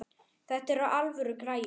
Þetta eru alvöru græjur.